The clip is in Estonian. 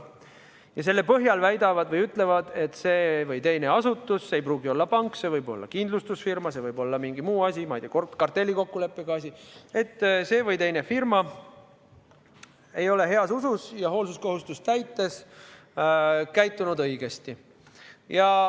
Ja selle põhjal nad väidavad või ütlevad, et see või teine asutus – see ei pruugi olla pank, see võib olla kindlustusfirma, see võib olla mingi muu asi, ma ei tea, kartellikokkuleppega asi –, et see või teine firma ei ole heas usus ja hoolsuskohustust täites käitunud õigesti.